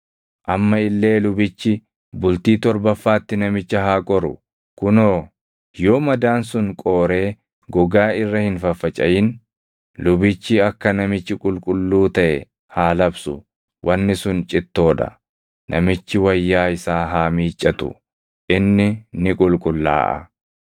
Amma illee lubichi bultii torbaffaatti namicha haa qoru; kunoo, yoo madaan sun qooree gogaa irra hin faffacaʼin, lubichi akka namichi qulqulluu taʼe haa labsu; wanni sun cittoo dha. Namichi wayyaa isaa haa miiccatu; inni ni qulqullaaʼa.